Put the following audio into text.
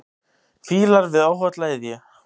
Fílar við óholla iðju.